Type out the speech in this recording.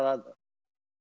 að